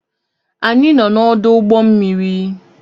Anyị nọ n'ọdụ ụgbọ mmiri